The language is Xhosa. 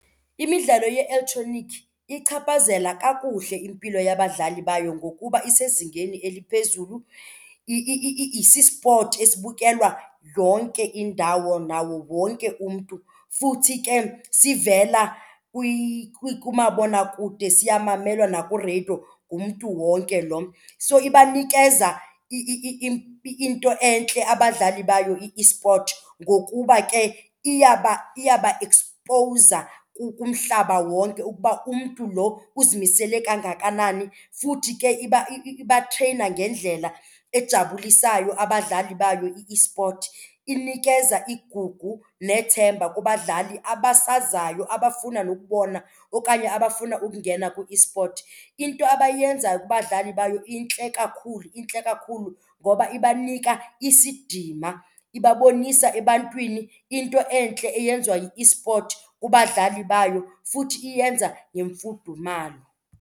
Imidlalo ye-elektroniki iyichaphazela kakuhle impilo yabadlali bayo ngokuba isezingeni eliphezulu. Sisipothi esibukelwa yonke indawo nawo wonke umntu futhi ke sivela kumabonakude siyamamelwa nakwireyido ngumntu wonke loo. So ibanikeza into entle abadlali bayo i-esport ngokuba ke iyabaekspowuza kumhlaba wonke ukuba umntu lo uzimisele kangakanani, futhi ke ibatreyina ngendlela ejabulisayo abadlali bayo i-esport. Inikeza igugu nethemba kubadlali abasazayo abafuna nokubona okanye abafuna ukungena kwi-esport. Into abayenzayo kubadlali bayo intle kakhulu. Intle kakhulu ngoba ibanika isidima, ibabonisa ebantwini into entle eyenziwa yi-esport kubadlali bayo futhi iyenza ngemfudumalo.